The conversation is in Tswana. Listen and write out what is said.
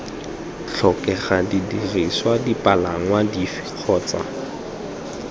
tlhokega didirisiwa dipalangwa dife kgotsa